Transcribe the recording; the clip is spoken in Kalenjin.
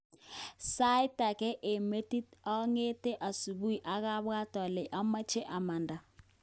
Sait age eng metit onge'te subui akabwat ole omoche amanda.